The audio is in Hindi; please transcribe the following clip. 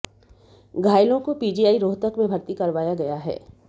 घायलों को पीजीआई रोहतक में भर्ती करवाया गया है